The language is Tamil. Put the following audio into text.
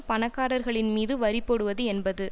பணக்காரர்களின் மீது வரி போடுவது என்பது